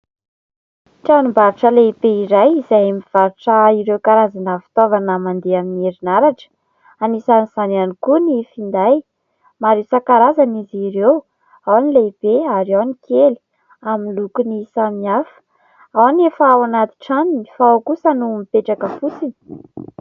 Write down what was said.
Tranombarotra lehibe iray izay mivarotra ireo karazana fitaovana mandeha amin'ny herinaratra. Anisan'izany ihany koa ny finday. Maro isan-karazany izy ireo, ao ny lehibe ary ao ny kely, amin'ny lokony samihafa, ao ny efa ao anaty tranony fa ao kosa no mipetraka fotsiny.